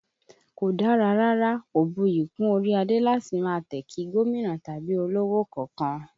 Kò dára rárá, kò buyì kún orí adé láti máa tẹ̀ kí gómìnà tàbí olówò kankan